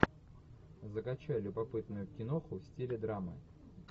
закачай любопытную киноху в стиле драмы